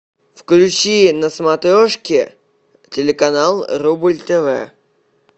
включи на смотрешке телеканал рубль тв